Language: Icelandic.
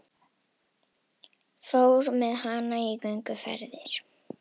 Fór með hana í gönguferðir.